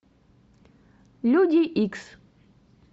люди икс